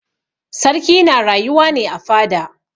Sarki na rayuwa ne a fada.